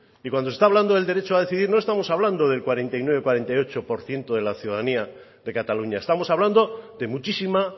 y cuando se está hablando del derecho a decidir no estamos hablando del cuarenta y nueve cuarenta y ocho por ciento de la ciudadanía de cataluña estamos hablando de muchísima